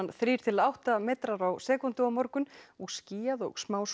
þrír til átta metrar á sekúndu á morgun og skýjað og